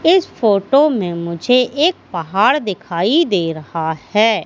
इस फोटो में मुझे एक पहाड़ दिखाई दे रहा है।